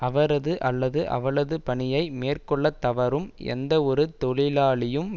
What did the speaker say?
அவரது அல்லது அவளது பணியை மேற்கொள்ள தவறும் எந்தவொரு தொழிலாளியும்